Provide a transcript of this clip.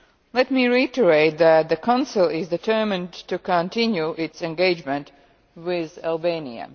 Let me reiterate that the Council is determined to continue its engagement with Albania.